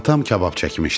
Atam kabab çəkmişdi.